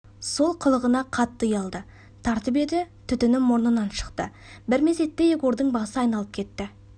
сол қылығына қатты ұялды тартып еді түтіні мұрнынан шықты бір мезетте егордың басы айналып кетті